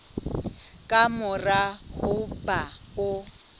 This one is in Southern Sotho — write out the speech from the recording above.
ka mora ho ba o